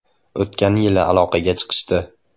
O‘tgan yil aloqaga chiqishdi.